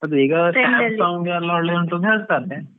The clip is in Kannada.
ಎಲ್ಲ ಒಳ್ಳೆ ಉಂಟು ಅಂತ ಹೇಳ್ತಾರೆ.